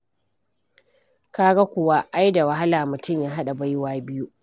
Ka ga kuwa ai da wahala mutum ya haɗa baiwa biyu.